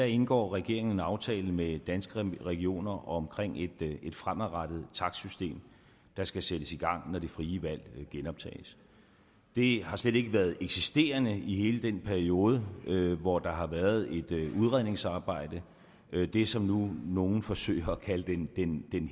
indgår regeringen en aftale med danske regioner om et fremadrettet takstsystem der skal sættes i gang når det frie valg genoptages det har slet ikke været eksisterende i hele den periode hvor der har været et udredningsarbejde det som nogle nu nu forsøger at kalde den